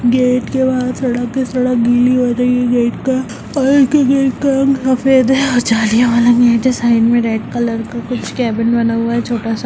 Gate के बाहर सड़क है सड़क गीली हो रही है गेट का और इनके गेट का रंग सफेद है और जालिया वाला नेट है साइड में रेड कलर का कुछ केबिन बना हुआ है छोटा- सा।